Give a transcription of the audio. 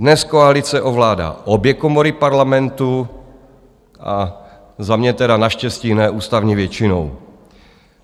Dnes koalice ovládá obě komory Parlamentu, za mě teda naštěstí ne ústavní většinou.